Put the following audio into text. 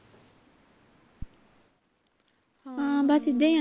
ਹਾਂ ਬਸ ਇੱਦਾਂ ਹੀ ਹੈ ਨਾ